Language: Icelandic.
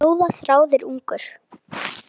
Ljóða þráir ungur.